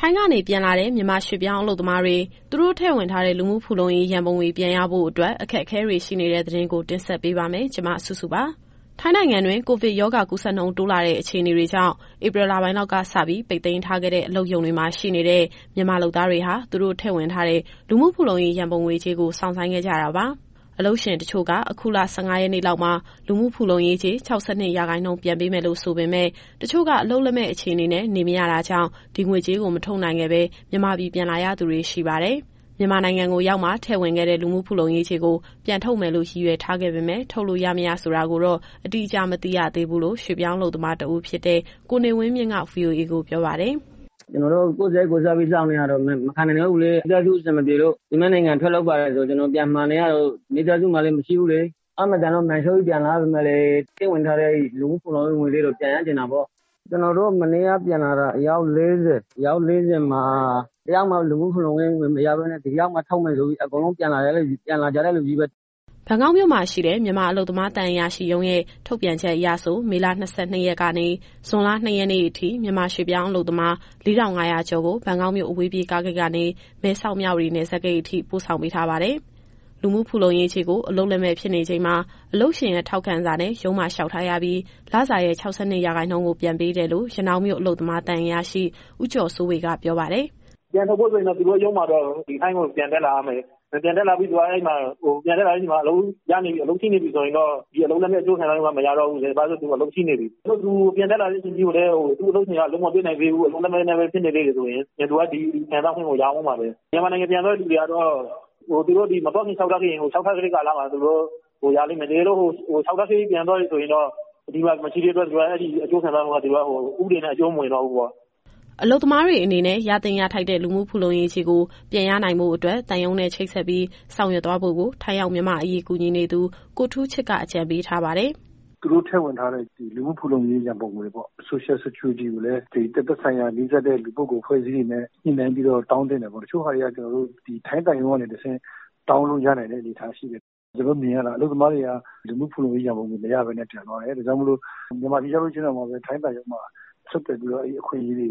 ထိုင်းကနေပြန်လာတဲ့ မြန်မာရွှေ့ပြောင်းအလုပ်သမားတွေ သူတို့ထည့်ဝင်ထားတဲ့ လူမှုဖူလုံရေးရန်ပုံငွေ ပြန်ရဖို့အတွက် အခက်အခဲတွေရှိနေတဲ့ သတင်းကို မစုစု တင်ဆက်ပေးပါမယ်။ ထိုင်းနိုင်ငံတွင်း ကိုဗစ်ရောဂါ ကူးစက်နှုန်းတိုးလာတဲ့ အခြေအနေတွေကြောင့် ဧပြီလပိုင်းလောက်ကစပြီး ပိတ်သိမ်းထားခဲ့တဲ့ အလုပ်ရုံတွေမှာရှိနေတဲ့ မြန်မာလုပ်သားတွေဟာ သူတို့ထည့်ဝင်ထားတဲ့ လူမှုဖူလုံရေးရန်ပုံငွေကြေးကို စောင့်ဆိုင်းခဲ့ကြတာပါ။ အလုပ်ရှင်တချို့က အခုလ ၁၅ရက်နေ့လောက်မှာ လူမှုဖူလုံရေးကြေး ၆၂ရာခိုင်နှုန်းပြန်ပေးမယ်လို့ ဆိုပေမယ့် ၊ တချို့က အလုပ်လက်မဲ့အခြေအနေနဲ့ နေမရတာကြောင့် ဒီငွေကြေးကိုမထုတ်နိုင်ခဲ့ပဲ မြန်မာပြည် ပြန်လာရသူတွေရှိပါတယ်။ မြန်မာနိုင်ငံကိုရောက်မှ ထည့်ဝင်ခဲ့တဲ့ လူမှုဖူလုံရေးကြေးကို ပြန်ထုတ်မယ်လို့ ရည်ရွယ်ထားပေမယ့် ထုတ်လို့ရ မရဆိုတာကိုတော့ အတိအကျမသိသေးဘူးလို့ ရွှေ့ပြောင်းအလုပ်သမားတဦးဖြစ်တဲ့ ကိုနေဝင်းမြင့်က VOA ကိုပြောပါတယ်။ “ကျနော်တို့ ကိုယ့်စရိတ် ကိုယ်စားပြီးစောင့်နေရတာ မခံနိုင်တော့ဘူးလေ။ မိသားစုအဆင်မပြေလို့ သူများနိုင်ငံ ထွက်လုပ်ပါတယ်ဆို ကျနော်ကပြန်မှာနေရတော့ မိသားစုမှာလည်း မရှိဘူးလေ။ အားမသန်လို့ မာန်လျှော့ပြီးပြန်လာရပေမယ့်လည်း ထည့်ဝင်ထားတဲ့ အဲဒီလူမှုဖူလုံရေး ရန်ပုံငွေလေးတော့ ပြန်ရချင်တာပေါ့ဗျာ။ ကျနော်တို့ မနေ့ကပြန်လာတဲ့ အယောက် ၄၀မှာ တယောက်မှ လူမှုဖူလုံရေးငွေမရဘဲနဲ့ ဒီရောက်မှထုတ်မယ်ဆိုပြီး ပြန်လာကြတဲ့သူချည်းပဲ။” ဘန်ကောက်မြို့မှာရှိတဲ့ မြန်မာအလုပ်သမားသံအရာရှိရုံးရဲ့ ထုတ်ပြန်ချက်အရဆို မေလ ၂၂ရက်ကနေ ဇွန်လ ၂ရက်နေ့အထိ မြန်မာရွှေ့ပြောင်းအလုပ်သမား ၄,၅၀၀ ကျော်ကို ဘန်ကောက်မြို့ အဝေးပြေးကားဂိတ်ကနေ မဲဆောက်-မြဝတီနယ်စပ်ဂိတ်အထိ ပို့ဆောင်ပေးထားပါတယ်။ လူမှုဖူလုံရေးကြေးကို အလုပ်လက်မဲ့ဖြစ်နေချိန်မှာ အလုပ်ရှင်ရဲ့ထောက်ခံစာနဲ့ ရုံးမှာလျှောက်ထားရပြီး လစာရဲ့ ၆၂ရာခိုင်နှုန်းကို ပြန်ပေးတယ်လို့ ရနောင်းမြို့ အလုပ်သမားသံအရာရှိ ဦးကျော်စိုးဝေက ပြောပါတယ်။ “ပြန်ထုတ်ဖို့ဆိုရင်တော့ ဒီထိုင်းကိုပြန်တက်လာရမယ်။ ပြန်တက်လာတဲ့အချိန်မှာ အလုပ်ရှိနေပြီ ဆိုရင်တော့ ဒီအလုပ်လက်မဲ့အကျိုးခံစားခွင့်က မရတော့ဘူး။ တကယ်လို့သူပြန်တက်လာတဲ့အချိန်ထိ သူ့အလုပ်ရှင်က အလုပ်မပေးနိုင်သေးဘူး၊ အလုပ်လက်မဲ့ဖြစ်နေသေးတယ်ဆိုရင် သူက ဒီခံစားခွင့်ကိုရမယ်။ မြန်မာနိုင်ငံပြန်သွားတဲ့သူတွေကတော့ သူတို့မသွားခင်လျှောက်ထားခဲ့ရင် လျှောက်ထားခဲ့တဲ့ကာလမှာ ရလိမ့်မယ်။ တကယ်လို့ ပြန်သွားတယ်ဆိုရင်တော့ အဲဒီအကျိုးခံစားခွင့်က ဥပဒေနဲ့ အကျုံးမဝင်တော့ဘူးပေါ့။” အလုပ်သမားတွေအနေနဲ့ ရသင့်ရထိုက်တဲ့ လူမှုဖူလုံရေးကြေးကို ပြန်ရနိုင်ဖို့အတွက် သံရုံးနဲ့ ချိတ်ဆက်ပြီး ဆောင်ရွက်သွားဖို့ကို ထိုင်းရောက်မြန်မာ့အရေးကူညီနေသူ ကိုထူးချစ်က အကြံပေးထားပါတယ်။ “သူတို့ထည့်ဝင်ထားတဲ့ လူမှုဖူလုံရေးရန်ပုံငွေပေါ့။ Social Security ကိုလည်း သက်ဆိုင်ရာနီးစပ်တဲ့ လူပုဂ္ဂိုလ်အဖွဲ့အစည်းတွေနဲ့ ညှိနှိုင်းပြီးတော့ တောင်းသင့်တယ်ပေါ့။ တချို့ဟာတွေက ထိုင်းသံရုံးကနေ တဆင့် တောင်းလို့ရနိုင်တဲ့အနေအထားရှိတယ်။ ကျနော်တို့မြင်ရတာက အလုပ်သမားတွေက လူမှုဖူလုံရေးရန်ပုံငွေ မရဘဲနဲ့ ပြန်သွားတယ်။ ဒါကြောင့်မို့လို့ မြန်မာပြည် ပြန်ရောက်ရင်တောင် ထိုင်းသံရုံးမှာ ဆက်သွယ်ပြီးတော့ အဲဒီအခွင့်အရေးတွေ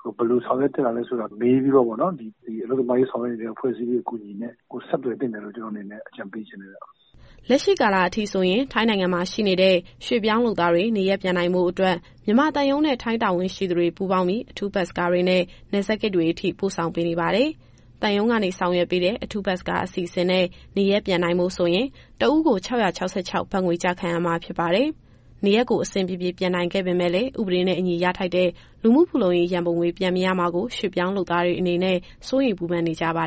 ကို ဘယ်လိုဆောင်ရွက်သင့်လဲဆိုတာ မေးပြီးတော့ ဒီအလုပ်သမားရေးဆောင်ရွက်နေတဲ့ အဖွဲ့အစည်းတွေ အကူအညီနဲ့ ဆက်သွယ်သင့်တယ်လို့ ကျနော့်အနေနဲ့အကြံပေးချင်တယ်ဗျ။” လက်ရှိကာလအထိဆိုရင် ထိုင်းနိုင်ငံမှာရှိနေတဲ့ ရွှေ့ပြောင်းလုပ်သားတွေ နေရပ်ပြန်နိုင်ဖို့အတွက် မြန်မာသံရုံးနဲ့ ထိုင်းတာဝန်ရှိသူတွေ ပူးပေါင်းပြီး အထူးဘတ်စ်ကားတွေနဲ့ နယ်စပ်ဂိတ်တွေအထိ ပို့ဆောင်ပေးနေပါတယ်။သံရုံးကနေဆောင်ရွက်ပေးတဲ့ အထူးဘတ်စ်ကားအစီအစဉ်နဲ့ နေရပ်ပြန်နိုင်ဖို့ဆိုရင် တဦးကို ၆၆၆ ဘတ်ငွေကျခံရမှာ ဖြစ်ပါတယ်။ နေရပ်ကိုအဆင်ပြေပြေ ပြန်နိုင်ခဲ့ပေမယ့်လည်း ဥပဒေနဲ့အညီရထိုက်တဲ့ လူမှုဖူလုံရေးရန်ပုံငွေ ပြန်မရမှာကို ရွှေ့ပြောင်းလုပ်သားတွေအနေနဲ့ စိုးရိမ်ပူပင်နေကြပါ